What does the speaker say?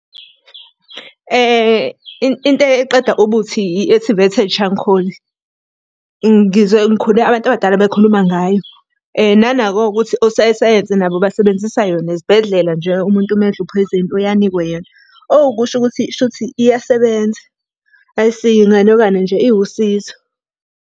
Into eqeda ubuthi i-activated charcoal. Ngizwe ngikhule abantu abadala bekhuluma ngayo, nanako-ke ukuthi ososayensi nabo basebenzisa yona. Ezibhedlela nje umuntu uma edle uphoyizeni uye anikwe yona. owukusho ukuthi shuthi iyasebenza. Ayisiye inganekwane nje iwusizo.